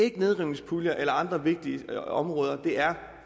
ikke nedrivningspuljer eller andre vigtige områder det er